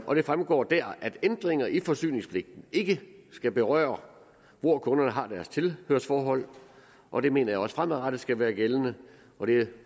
og det fremgår dér at ændringer i forsyningspligten ikke skal berøre hvor kunderne har deres tilhørsforhold og det mener jeg også fremadrettet skal være gældende og det er